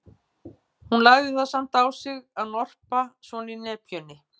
Hún lagði það samt á sig að norpa svona í nepjunni.